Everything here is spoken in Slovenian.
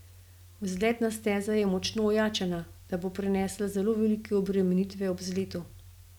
Vzletna steza je močno ojačana, da bo prenesla zelo velike obremenitve ob vzletu.